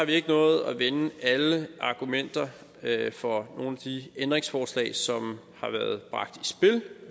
ikke nået at vende alle argumenter for nogle af de ændringsforslag som har været bragt